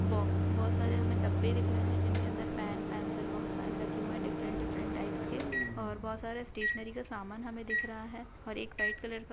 ब-बहुत सारे हमे डब्बे दिख रहे है जिनके अंदर पेन पेंसिल बहुत सारे रखे हुए है डिफ़्रेंट डिफ़्रेंट टाइप्स के और बहुत सारे स्टेशनरी का समान हमे दिख रहा है और व्हाइट कलर का--